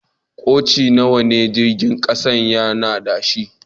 Koci nawa ne jirigin kasan ya na da shi?